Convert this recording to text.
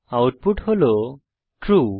output হল true